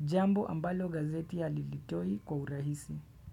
jambo ambalo gazeti ya halilitoi kwa urahisi.